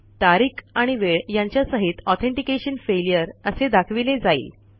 तारीख आणि वेळ यांच्या सहितAuthentication फेल्युअर असे दाखविले जाईल